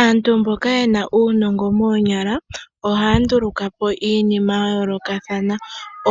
Aantu mboka yena uunongo woonyala ohaya ndulukapo iinima ya yoolokathana.